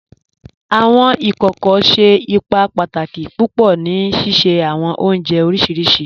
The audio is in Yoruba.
Awọn ikókò ṣẹ́ ìpà pàtàkì púpọ̀ ní síṣẹ̀ awọn ọ̀njẹ̀ oríṣiríṣì